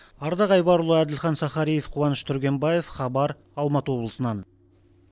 ардақ айбарұлы әділхан сахариев қуаныш түргенбаев хабар алматы облысынан